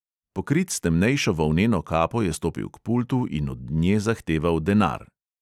Pokrit s temnejšo volneno kapo je stopil k pultu in od nje zahteval denar.